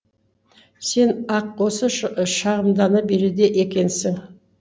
сен ақ осы шағымдана береді екенсің